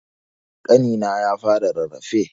Ƙanina ya fara rarrafe.